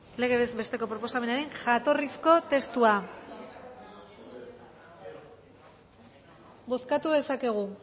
legez besteko proposamenaren jatorrizko testua bozkatu dezakegu